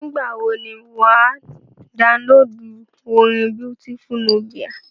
Nígbà wọ ni wà á downloadu orin Beautiful Nubia.